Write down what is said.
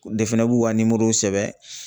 fɛnɛ b'u ka nimoro sɛbɛn